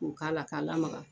K'u k'a la k'a lamaga.